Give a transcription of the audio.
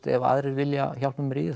ef aðrir vilja hjálpa mér í